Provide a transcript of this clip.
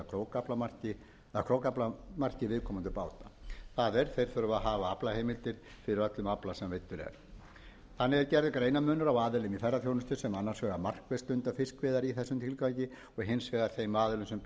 eða krókaaflamarki viðkomandi báta það er þeir þurfa að hafa aflaheimildir fyrir öllum afla sem veiddur er þannig er gerður greinarmunur á aðilum í ferðaþjónustu sem annars vegar markvisst stunda fiskveiðar í þessum tilgangi og hins vegar þeim aðilum sem bjóða upp á